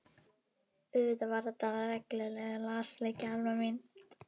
Auðvitað var þetta reglulegur lasleiki Alma mín.